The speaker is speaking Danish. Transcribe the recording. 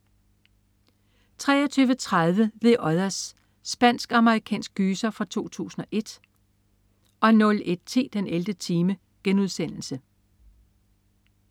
23.30 The Others. Spansk-amerikansk gyser fra 2001 01.10 den 11. time*